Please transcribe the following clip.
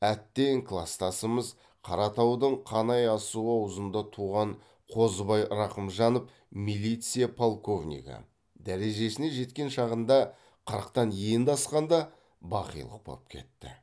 әттең кластасымыз қаратаудың қанай асуы аузында туған қозыбай рақымжанов милиция полковнигі дәрежесіне жеткен шағында қырықтан енді асқанда бақилық боп кетті